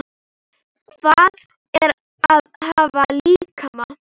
Hvað er að hafa líkama?